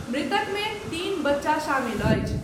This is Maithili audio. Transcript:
मृतक मे तीन बच्चा शामिल अछि।